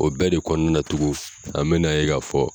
O bɛɛ de kɔnɔna na tugun an bɛ na ye ka fɔ